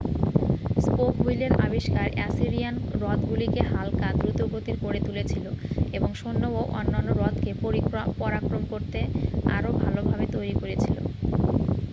spoke হুইলের আবিষ্কার Assyrian রথগুলিকে হাল্কা দ্রুতগতির করে তুলেছিল এবং সৈন্য ও অন্যান্য রথকে পরাক্রম করতে আরও ভালভাবে তৈরী করেছিল